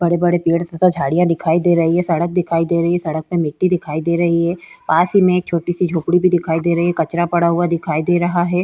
बड़े-बड़े पेड़ तथा झाड़ियां दिखाई दे रही है सड़क दिखाई दे रही है सड़क प मिट्टी दिखाई दे रही है पास ही में एक छोटी सी झोपड़ी भी दिखाई दे रही है कचरा पड़ा हुआ दिखाई दे रहा है।